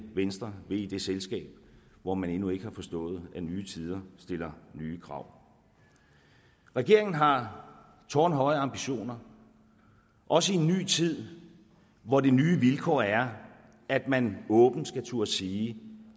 venstre vil i det selskab hvor man endnu ikke har forstået at nye tider stiller nye krav regeringen har tårnhøje ambitioner også i en ny tid hvor det nye vilkår er at man åbent skal turde sige